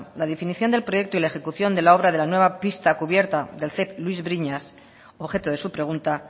la definición del proyecto y la ejecución de la obra de la nueva pista cubierta del ceip luis briñas objeto de su pregunta